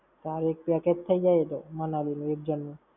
તારે એક package થઇ જાય એ તો! Manali નું એક જણ નું.